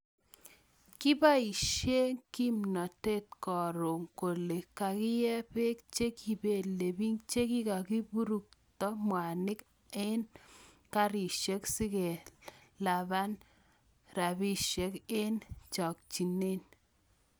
Kipaisie kimnatet koroo kolee kakiek peek chekipelepiich chekikapuruktoo mwanik an karisiek sikelapan rapisiek eng chakchineet